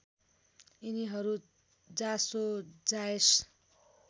यिनीहरू जासो जायस